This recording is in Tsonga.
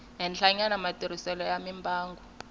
henhlanyana matirhiselo ya mimbangu yo